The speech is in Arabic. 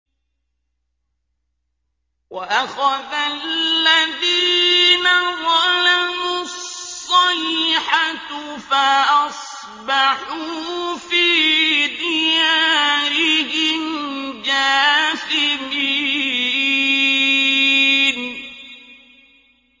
وَأَخَذَ الَّذِينَ ظَلَمُوا الصَّيْحَةُ فَأَصْبَحُوا فِي دِيَارِهِمْ جَاثِمِينَ